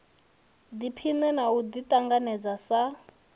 ḓiphine na u ḓiṱanganedza sa